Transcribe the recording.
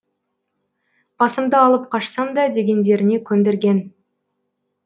басымды алып қашсам да дегендеріне көндірген